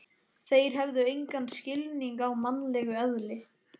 Þeir hefðu engan skilning á mannlegu eðli.